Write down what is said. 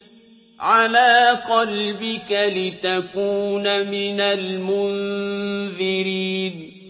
عَلَىٰ قَلْبِكَ لِتَكُونَ مِنَ الْمُنذِرِينَ